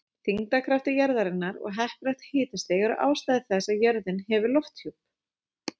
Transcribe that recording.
Þyngdarkraftur jarðarinnar og heppilegt hitastig eru ástæður þess að jörðin hefur lofthjúp.